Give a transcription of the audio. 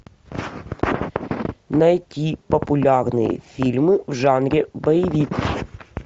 найти популярные фильмы в жанре боевик